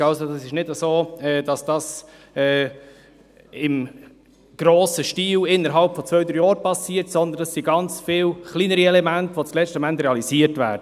Es ist also nicht so, dass dies im grossen Stil innerhalb von zwei bis drei Jahren geschieht, sondern es sind ganz viele kleinere Elemente, welche schlussendlich realisiert werden.